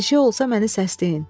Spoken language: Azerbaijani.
Bir şey olsa məni səsləyin.